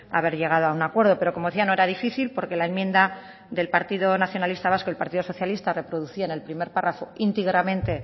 haber llegado a un acuerdo pero como decía no era difícil porque la enmienda del partido nacionalista vasco el partido socialista reproducía en el primer párrafo íntegramente